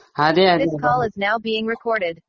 അതെ അതെ